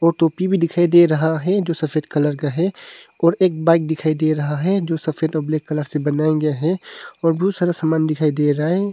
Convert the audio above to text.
वो टोपी भी दिखाई दे रहा है जो सफेद कलर का है और एक बाइक दिखाई दे रहा है जो सफेद और ब्लैक कलर से बनाया गया है और बहुत सारा सामान दिखाई दे रहा है।